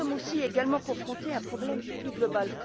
Mais, nous sommes également confrontés à un problème plus global.